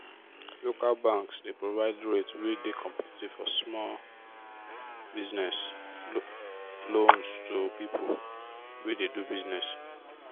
local banks dey provide rates wey dey competitive for small business loans to people wey dey do business.